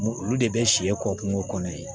Olu de bɛ siyɛ kɔ kungo kɔnɔ ye